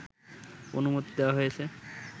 অনুমতি দেওয়া হয়েছে